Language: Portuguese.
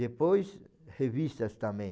Depois, revistas também.